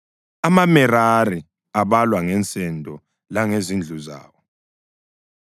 AmaMerari abalwa ngensendo langezindlu zawo.